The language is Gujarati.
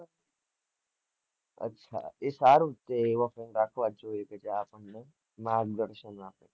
અચા એ સારું જ છે માર્ગદર્શન માં